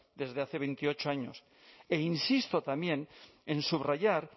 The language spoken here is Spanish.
desde hace veintiocho años e insisto también en subrayar